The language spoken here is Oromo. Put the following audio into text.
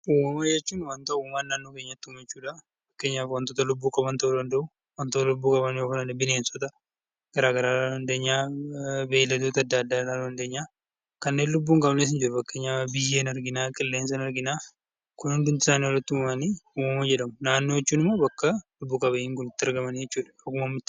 Uumama jechuun waanta uumaan naannoo keenyatti uume jechuudha. Fakkeenyaaf waantota lubbuu qaban ta'uu danda'u, waantota lubbuu dhaban ta'uu danda'u, bineensota garaagaraa, beeyiladoota garaagaraa dhahuu dandeenya. Kanneen lubbuu hin qabnes ni jiru fakkeenyaaf biyyee ni argina, qilleensa ni argina Kun hundi isaanii walitti uumamanii uumama jedhama. Naannoo jechuun immoo bakka lubbu qabeeyyiin Kun itti argaman jechuudha.